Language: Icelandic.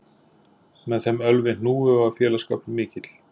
Með þeim Ölvi hnúfu var félagsskapur mikill